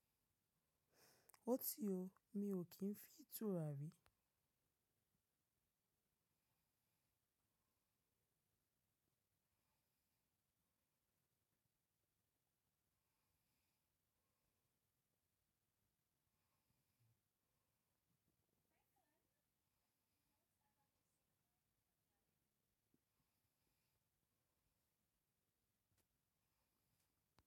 Ó ti ó, mi ò kín fi ìtura rí.